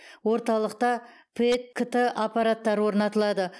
орталықта пэт кт аппараттары орнатылады